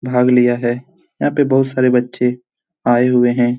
भाग लिया है यहाँ पे बहुत सारे बच्चे आए हुए हैं।